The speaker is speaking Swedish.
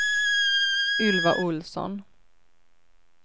Ylva Olsson